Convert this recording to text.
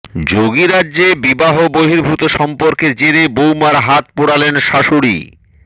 যোগীরজ্যে বিবাহ বহির্ভূত সম্পর্কের জেরে বৌমার হাত পোড়ালেন শাশুড়ি